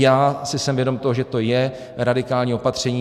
Já si jsem vědom toho, že to je radikální opatření.